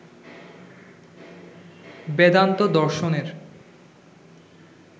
বেদান্ত দর্শনের